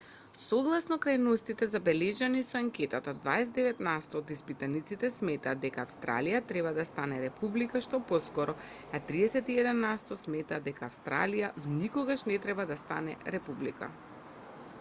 согласно крајностите забележани со анкетата 29 насто од испитаниците сметаат дека австралија треба да стане република што поскоро а 31 насто сметаат дека австралија никогаш не треба да стане република